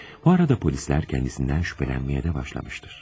Bu arada polisler kendisinden şüphelenmeye de başlamıştır.